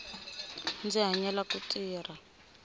ndzi hanyela ku tirha